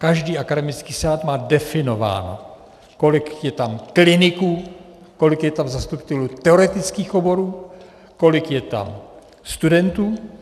Každý akademický senát má definováno, kolik je tam kliniků, kolik je tam zastupitelů teoretických oborů, kolik je tam studentů.